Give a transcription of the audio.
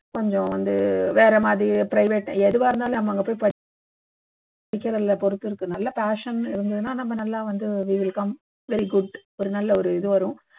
கொஞ்சம் வந்து வேற மாதிரி private எதுவா இருந்தலும் நம்ம அங்க போயி படிக்கிறதுல பொறுத்து இருக்கு நல்ல passion ன்னு இருந்துதுன்னா நம்ம நல்லா வந்து we will come well good ஒரு நல்ல ஒரு இது வரும்